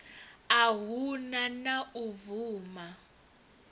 a hu na u vuwa